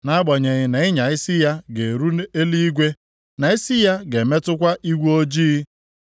Nʼagbanyeghị na ịnya isi ya ga-eru eluigwe, na isi ya ga-emetụkwa igwe ojii;